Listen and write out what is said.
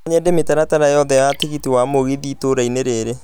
No nyende mĩtaratara yothe ya tigiti wa Mũgithi itũra-inĩ rĩrĩ